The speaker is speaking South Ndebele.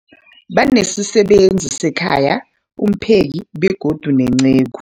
Banesisebenzi sekhaya, umpheki, begodu nenceku.